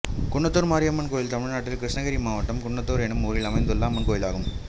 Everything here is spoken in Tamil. குன்னத்தூர் மாரியம்மன் கோயில் தமிழ்நாட்டில் கிருஷ்ணகிரி மாவட்டம் குன்னத்தூர் என்னும் ஊரில் அமைந்துள்ள அம்மன் கோயிலாகும்